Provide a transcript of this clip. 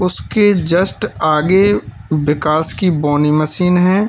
उसके जस्ट आगे विकास की बोनी मशीन है।